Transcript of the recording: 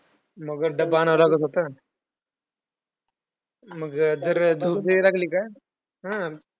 मग डब्बा आणावा लागत होता. मग जर जायला लागले का